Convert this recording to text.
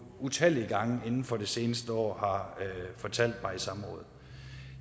utallige gange inden for det seneste år har fortalt mig i samråd